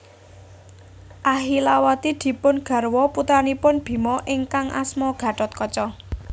Ahilawati dipun garwa putranipun Bima ingkang asma Gathotkaca